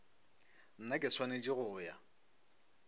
nna ke swanetse go ya